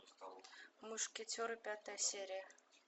мушкетеры пятая серия